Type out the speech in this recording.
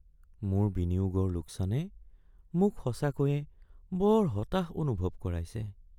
মোৰ বিনিয়োগৰ লোকচানে মোক সঁচাকৈয়ে বৰ হতাশ অনুভৱ কৰাইছে।